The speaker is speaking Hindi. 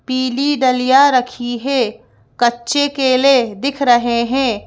पीली डलिया रखी है कच्चे केले दिख रहे हैं।